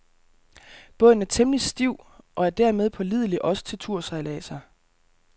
Båden er temmelig stiv, og er dermed pålidelig også til tursejladser.